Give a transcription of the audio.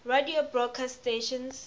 radio broadcast stations